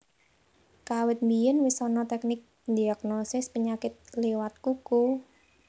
Kawit biyèn wis ana teknik ndhiagnosis penyakit liwat kuku